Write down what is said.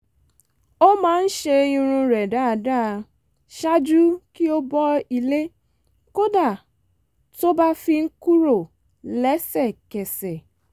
ó máa ń ṣe irun rẹ̀ dáadáa ṣáájú kí ó bọ́ ilé kódà tó bá fi ń kúrò lẹ́sẹ̀kẹsẹ̀